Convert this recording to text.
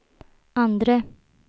andre